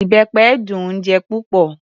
Ìbẹpẹ dùn-ún jẹ púpọ̀.